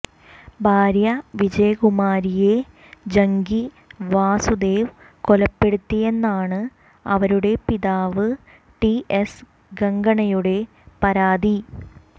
ഭാര്യ വിജയകുമാരിയെ ജഗ്ഗി വാസുദേവ് കൊലപ്പെടുത്തിയെന്നാണ് അവരുടെ പിതാവ് ടി എസ് ഗംഗണ്ണയുടെ പരാതി